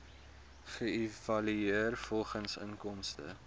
geëvalueer volgens inkomste